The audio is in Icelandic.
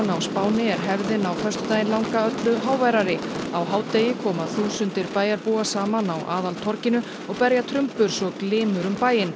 á Spáni er hefðin á föstudaginn langa öllu háværari á hádegi koma þúsundir bæjarbúa saman á aðaltorginu og berja trumbur svo glymur um bæinn